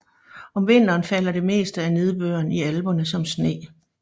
Om vinteren falder det meste af nedbøren i Alperne som sne